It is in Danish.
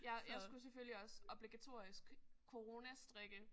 Ja jeg skulle selvfølgelig også obligatorisk coronastrikke